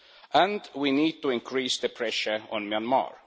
And we need to increase the pressure on Myanmar.